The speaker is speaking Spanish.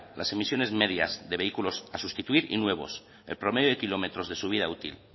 las emisiones medias de vehículos a sustituir y nuevos el promedio de kilómetros de su vida útil